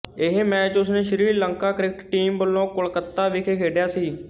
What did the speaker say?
ਇਹ ਮੈਚ ਉਸਨੇ Sri Lanka cricket team ਵੱਲੋੰ ਕੋਲਕੱਤਾ ਵਿਖੇ ਖੇਡਿਆ ਸੀ